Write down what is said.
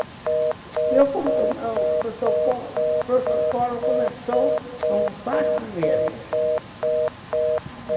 O meu protocolo começou com quatro mesas.